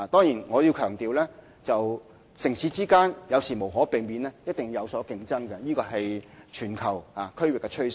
然而，我要強調，城市之間有時無可避免地一定會有競爭，這是全球區域的趨勢。